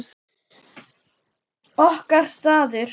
Okkar staður.